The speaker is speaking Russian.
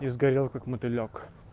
и сгорел как мотылёк